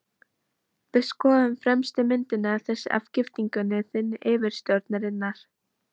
Við skoðuðum fremstu myndina, þessa af giftingunni þinni og yfirsjónarinnar.